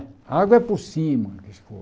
A água é por cima da.